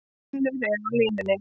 Finnur er á línunni.